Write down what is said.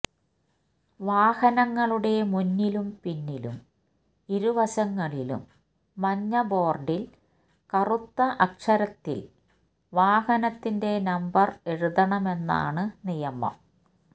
വാഹനങ്ങളുടെ മുന്നിലും പിന്നിലും ഇരുവശങ്ങളിലും മഞ്ഞ ബോര്ഡില് കറുത്ത അക്ഷരത്തില് വാഹനത്തിന്റെ നമ്പര് എഴുതണമെന്നാണ് നിയമം